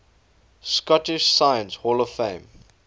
scottish science hall of fame